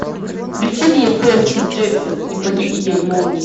включи мне перси джексон и похититель молний